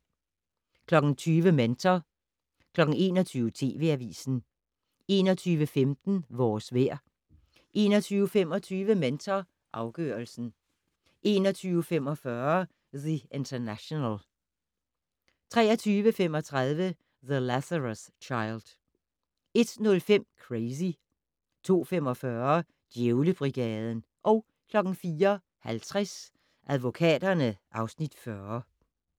20:00: Mentor 21:00: TV Avisen 21:15: Vores vejr 21:25: Mentor afgørelsen 21:45: The International 23:35: The Lazarus Child 01:05: Crazy 02:45: Djævlebrigaden 04:50: Advokaterne (Afs. 40)